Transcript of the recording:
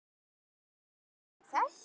Ber margt til þess.